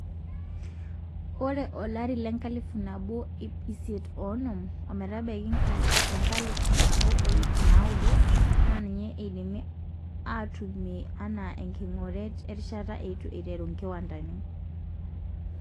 Ore olari lenkalifu nabo iip isiet oonom ometabaiki enkalifu nabo o iip naaudo naa ninye eidimi aitumiya anaa enkingoret erishata eitu eiteru nkiwandani.